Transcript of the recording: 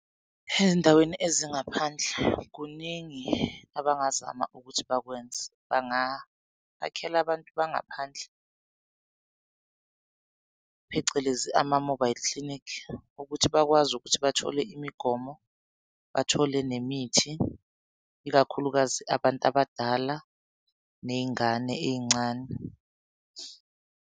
Ezindaweni ezingaphandle kuningi abangazama ukuthi bakwenze. Bangabakhela abantu bangaphandle phecelezi ama-mobile clinic ukuthi bakwazi ukuthi bathole imigomo, bathole nemithi ikakhulukazi abantu abadala ney'ngane ey'ncane.